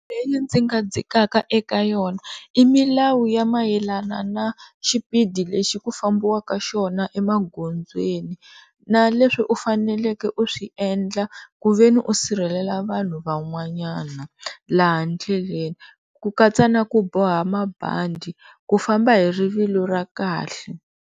Ndzi nga dzikaka eka yona i milawu ya mayelana na xipidi lexi ku fambiwaka xona emagondzweni na leswi u faneleke u swi endla ku ve ni u sirhelela vanhu van'wanyana laha ndleleni ku katsa ni ku boha mabandi ku famba hi rivilo ra kahle.